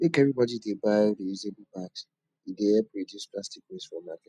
make everybodi dey buy reusable bags e dey help reduce plastic waste for market